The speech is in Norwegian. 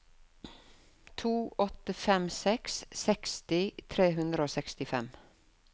to åtte fem seks seksti tre hundre og sekstifem